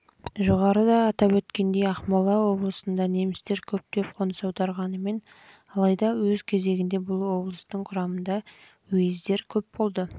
жоғарыда атап өткендей ақмола облысына немістер көптеп қоныс аударғанымен алайда өз кезегінде бұл облыстың құрамындағы уездер